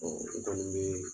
u kɔni be